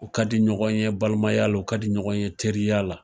U ka di ɲɔgɔn ye balimaya la, o ka di ɲɔgɔn ye teriya la.